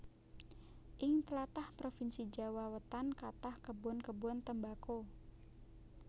Ing tlatah provinsi Jawa Wetan kathah kebon kebon tembako